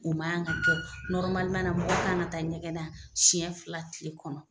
O man ŋa kɛ nɔrɔmaliman na mɔgɔ kan ŋa taa ɲɛgɛn na siɲɛ fila tile kɔnɔ.